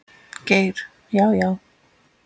Geir Já, já.